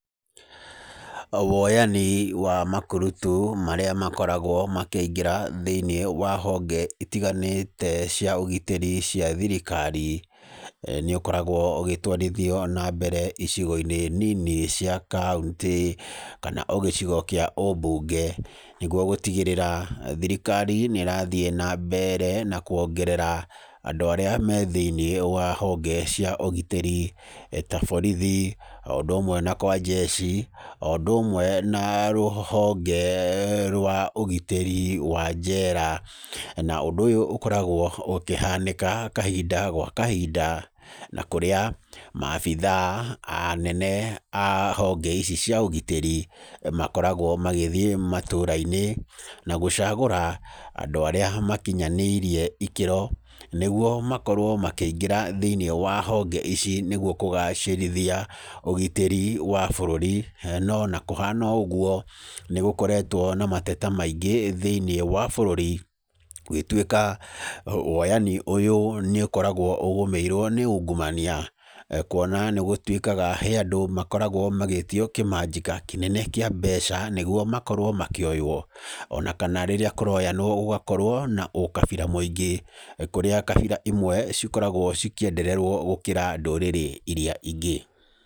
Woyani wa makurutu marĩa makoragwo makĩingĩra thĩinĩ wa honge itiganĩte cia ũgitiri cia thirikari nĩũkoragwo ũgĩtwarithio na mbere icigo-inĩ nini cia kauntĩ kana o gĩcigo kĩa ũmbunge. Nĩguo gũtigĩra thirikari nĩrathiĩ na mbere na kuongerera andũ arĩa marĩ thĩinĩ wa honge cia ũgitĩri ta borithi, o ũndũ ũmwe na kwa jeci,o ũndũ ũmwe na rũhonge rwa ũgitĩri wa jera. Na ũndu ũyũ ũkoragwo ũkĩhanĩka kahinda gwa kahinda na kũrĩa abithaa anene a honge ici cia ũgitĩri makoragwo magĩthiĩ matũra-inĩ na gũcagũra andũ arĩa makinyanĩirie ikĩro, nĩguo makorwo makĩingĩra thĩinĩ wa honge ici nĩguo kũgacĩrithia ũgitĩri wa bũrũri. No ona kũhana ũguo nĩgũKoretwo na mateta maingĩ thĩinĩ wa bũrũri gũgĩtuĩka woyani ũyũ nĩ ũkoragwo ũgũmĩirwo nĩ ungumania kuona nĩgũtuĩkaga hee andũ makoragwo magĩtio kĩmanjĩka kĩnene kĩa mbeca nĩguo makorwo makĩoywo ona kana rĩrĩa kũroyanwo gũgakorwo na ũkabira mũingĩ kũrĩa kabira imwe cikoragwo cikĩenderererwo gũkĩra ndũrĩrĩ iria ingĩ.